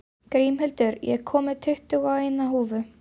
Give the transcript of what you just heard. Grímhildur, ég kom með tuttugu og eina húfur!